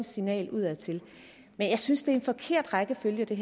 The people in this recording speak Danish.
signal udadtil jeg synes det er en forkert rækkefølge det